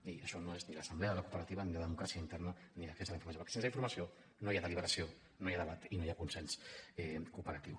i això no és ni l’assemblea de la cooperativa ni la democràcia interna ni l’accés a la informació perquè sense informació no hi ha deliberació no hi ha debat i no hi ha consens cooperatiu